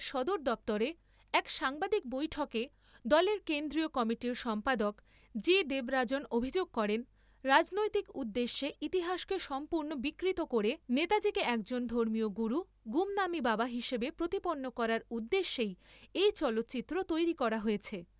সদর দপ্তরে এক সাংবাদিক বৈঠকে দলের কেন্দ্রীয় কমিটির সম্পাদক জি দেবারাজন অভিযোগ করেন, রাজনৈতিক উদ্দেশ্যে ইতিহাসকে সম্পূর্ণ বিকৃত করে নেতাজিকে একজন ধর্মীয় গুরু ' গুমনামী বাবা ' হিসেবে প্রতিপন্ন করার উদ্দেশ্যেই এই চলচ্চিত্র তৈরী করা হয়েছে।